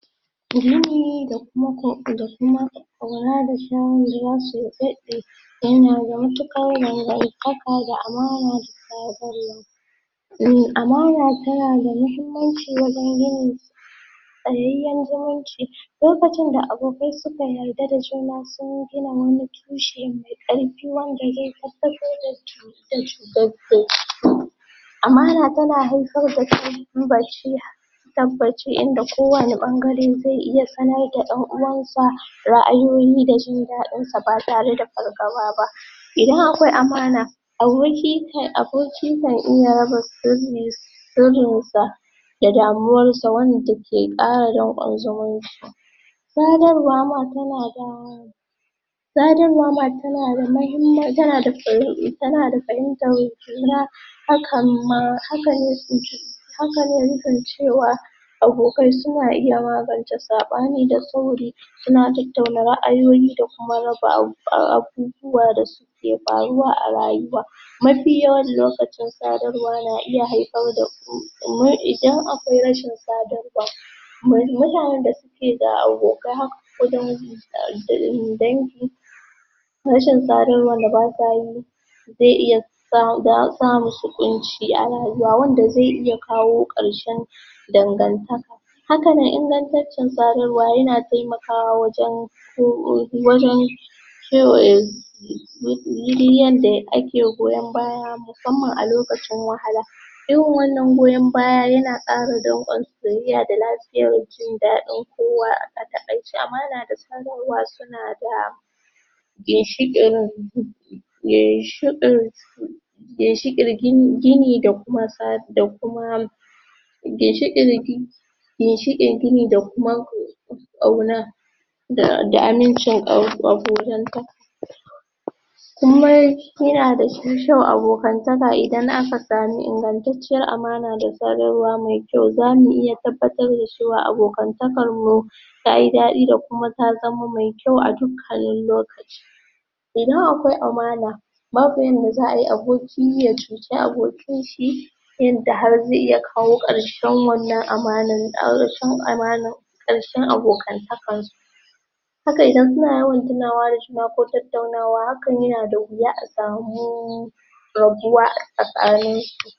Muhimmi da kuma ko da kuma ƙauna da su daɗe yana da matuƙar dangantaka da amana da Amana tana da mahimmanci wajan gini tsayayyan zuminci lokacin da abokai suka yarda da juna sun gina wani tushe mai ƙarfi wanda zai tabbatar da um Amana tana haifar da tabbaci tabbaci inda kowanne ɓangare zai iya sanar da ɗan uwansa ra'ayoyi da jin daɗin sa ba tare da fargaba ba idan akwai amana Aboki kai Abokin kan iya raba sirri sirin sa da damuwar sa wanda ke ƙara danƙon zumunci sadarwa ma tana da um Sadarwa ma tana da mahimman, tana fahimtar juna Hakan ma, haka ne tsinci hakane cewa abokai suna iya magance saɓani da sauri suna tattauna ra'ayoyi da kuma raba abu abubuwa da suke faruwa a rayuwa mafi yawan lokaci sadarwa na iya haifar da um idan akwai rashin sadarwa mu mutanan da suke da abokai haka ko dangi um dangi rashin sadarwan da basa yi zai iya sa[um] da[um] sa musu ƙunci a rayuwa wanda zai iya kawo ƙarshen dangantaka haka nan ingantaccin sadarwa yana taimakawa wajan um wajan kewaye yanda ake goyan baya musammam a lokacin wahala irin wannan goyan baya yana ƙara danƙon ziri'ya da lafiyar jin daɗin kowa, a taƙaice amana da sadarwa suna da ginshiƙin um ginshiƙin ginshiƙin gini da kuma sa da kuma ginshiƙin gi ginshiƙin gini da kuma ƙauna da da amincin kau abokantaka kuma yana da shi ƙyau abokantaka idan aka sami ingantacciyar amana da sadarwa mai kyau zamu iya tabbatar da cewa abokantakar mu tayi daɗi da kuma ta zama mai kyau a dukannin lokaci idan akwai amana babu yadda za'a yi aboki ya cuci abokin shi yanda har zai iya kawo ƙarshen wannan amana ƙarshen amanar ƙarshen abokantakan su haka idan suna yawan tunawa da juna ko tattaunawa hakan yana da wuya a samu rabuwa a tsakain su